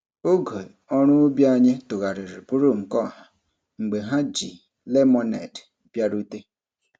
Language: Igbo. Oge ọrụ ubi anyị tụgharịrị bụrụ nke ọha mgbe ha ji lemọned bịarute.